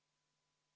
Head kolleegid!